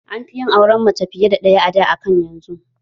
An fi yin auren mace fiya da ɗaya a da akan yanzu